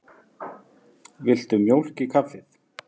Viltu mjólk í kaffið?